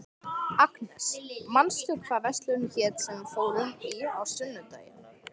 Agnes, manstu hvað verslunin hét sem við fórum í á sunnudaginn?